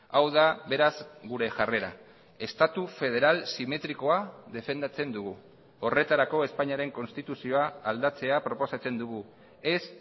hau da beraz gure jarrera estatu federal simetrikoa defendatzen dugu horretarako espainiaren konstituzioa aldatzea proposatzen dugu ez